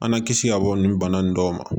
An na kisi ka bɔ nin bana in dɔw ma